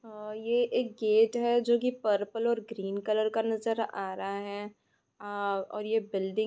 आ ये एक गेट है जो की पर्पल और ग्रीन कलर का नजर आ रहा है आ और ये बिल्डिंग --